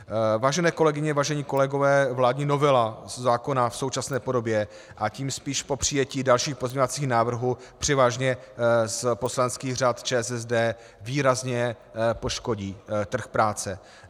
Vážené kolegyně, vážení kolegové, vládní novela zákona v současné podobě, a tím spíš po přijetí dalších pozměňovacích návrhů převážně z poslaneckých řad ČSSD, výrazně poškodí trh práce.